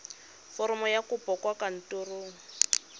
foromo ya kopo kwa kantorong